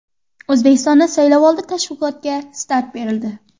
O‘zbekistonda saylovoldi tashviqotga start berildi.